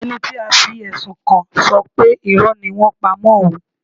Ẹni tí a fi ẹ̀sùn kàn ṣọ pé Irọ́ ni wọ́n ń pa mọ́ òun.